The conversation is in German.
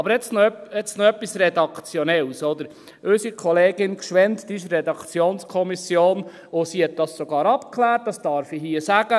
Aber jetzt noch etwas Redaktionelles: Unsere Kollegin Gschwend ist in der Redaktionskommission, und sie hat das sogar abgeklärt, das darf ich hier sagen;